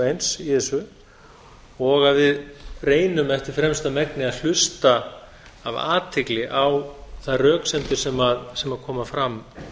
eins í þessu og að við reynum eftir fremsta megni að hlusta af athygli á þær röksemdir sem koma fram